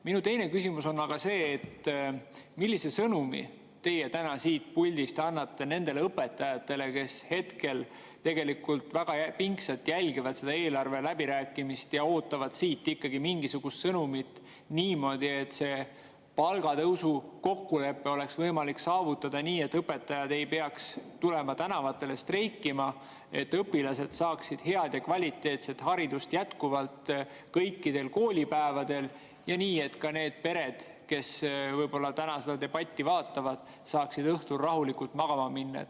Minu teine küsimus on aga see, et millise sõnumi annate te täna siit puldist nendele õpetajatele, kes jälgivad tegelikult väga pingsalt eelarve läbirääkimisi ja ootavad siit ikkagi mingisugust sõnumit, et palgatõusu kokkulepe oleks võimalik saavutada nii, et õpetajad ei peaks tulema tänavatele streikima, et õpilased saaksid head ja kvaliteetset haridust jätkuvalt kõikidel koolipäevadel, ja nii, et ka need pered, kes võib-olla täna seda debatti vaatavad, saaksid õhtul rahulikult magama minna.